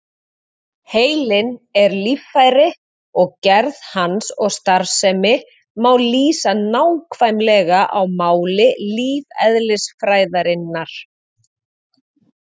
Heilinn er líffæri og gerð hans og starfsemi má lýsa nákvæmlega á máli lífeðlisfræðinnar.